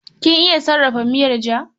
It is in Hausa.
Kin iya sarrafa miyar ja?